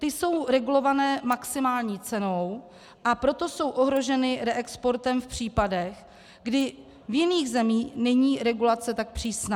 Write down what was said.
Ty jsou regulované maximální cenou, a proto jsou ohroženy reexportem v případech, kdy v jiných zemích není regulace tak přísná.